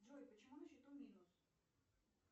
джой почему на счету минус